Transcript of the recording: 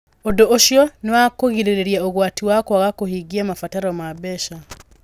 Ũndũ ũcio nĩ wa kũgirĩrĩria ũgwati wa kwaga kũhingia mabataro ma mbeca.